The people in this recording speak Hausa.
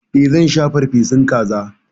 E, zan sha farfesun kaza.